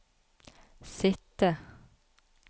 sitte